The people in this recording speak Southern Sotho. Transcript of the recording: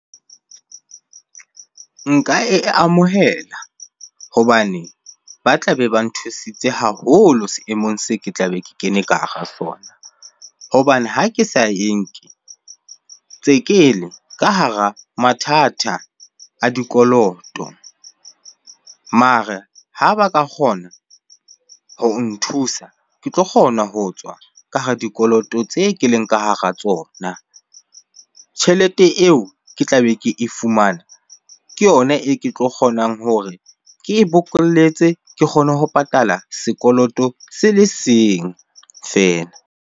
Nka e amohela hobane ba tlabe ba nthusitse haholo seemong se ke tlabe ke kene ka hara sona. Hobane ha ke sa e nke, tse kele ka hara mathata a dikoloto. Mare ha ba ka kgona ho o nthusa ke tlo kgona ho tswa ka hara dikoloto tse ke leng ka hara tsona. Tjhelete eo ke tlabe ke e fumane, ke yona e ke tlo kgonang hore ke e bokolletse ke kgone ho patala sekoloto se le seng feela.